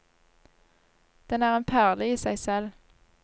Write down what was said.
Den er en perle i seg selv.